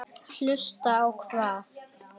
Hlusta á hvað?